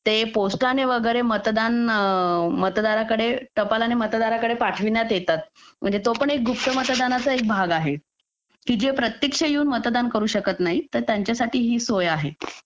ते पोस्टाने वगैरे मतदान मतदाराकडे टपाल आणि मतदाराकडे पाठवण्यात येतात म्हणजे तो पण एक गुप्त मतदानाचा भाग आहे की जे प्रत्यक्ष येऊन मतदान करू शकत नाहीत तर त्यांच्यासाठी ही सोय आहे